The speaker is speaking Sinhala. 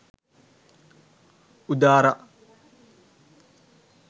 udara